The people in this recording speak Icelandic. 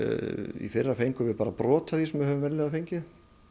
í fyrra fengum við bara brot af því sem við höfum venjulega fengið